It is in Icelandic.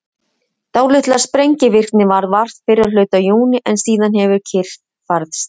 dálítillar sprengivirkni varð vart fyrri hluta júní en síðan hefur kyrrð færst yfir